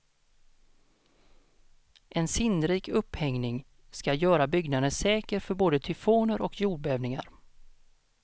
En sinnrik upphängning ska göra byggnaden säker för både tyfoner och jordbävningar.